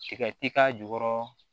Tiga ti k'a jukɔrɔ